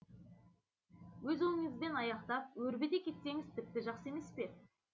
өз ойыңызбен аяқтап өрбіте кетсеңіз тіпті жақсы емес пе